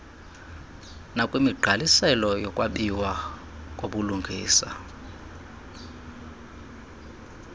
nokwemigqaliselo yokwabiwa kobulungisa